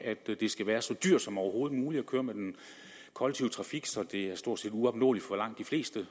at det skal være så dyrt som overhovedet muligt at køre med den kollektive trafik så det stort set er uopnåeligt for langt de fleste